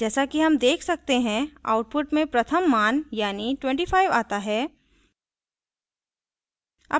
जैसा कि हम देख सकते हैं output में प्रथम मान यानी 25 as है